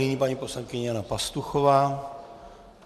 Nyní paní poslankyně Jana Pastuchová.